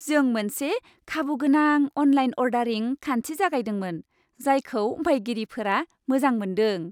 जों मोनसे खाबुगोनां अनलाइन अर्डारिं खान्थि जागायदोंमोन, जायखौ बायगिरिफोरा मोजां मोन्दों।